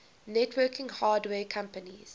networking hardware companies